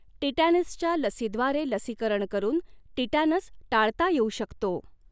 टिटॅनसच्या लसीद्वारे लसीकरण करून टिटॅनस टाळता येऊ शकतो.